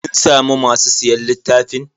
Kin samu masu siyan littafin?